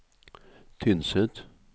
Tynset